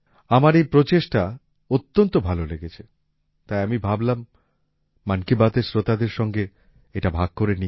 আমার এই প্রচেষ্টা অত্যন্ত ভালো লেগেছে তাই আমি ভাবলাম মন কি বাতএর শ্রোতাদের সঙ্গে এটা ভাগ করে নিই